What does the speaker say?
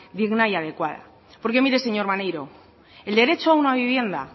digna y adecuada porque mire señor maneiro el derecho a una vivienda